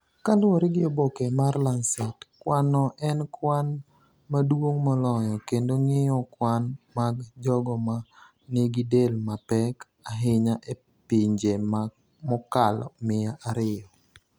Kaluwore gi oboke mar Lancet, kwanno en kwan maduong’ moloyo kendo ng'iyo kwan mag jogo ma nigi del mapek ahinya e pinje mokalo miya ariyo